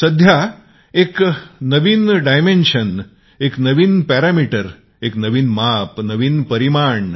सध्या एक नवीन दृष्टीकोन एक नवीन मापदंड